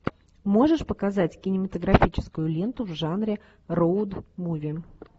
можешь показать кинематографическую ленту в жанре роуд муви